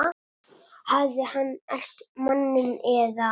Hafði hann elt manninn eða?